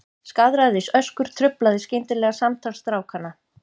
Skaðræðisöskur truflaði skyndilega samtal strákanna.